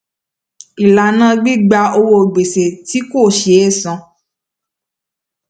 ìlànà gbígba owó gbèsè tí kò sé san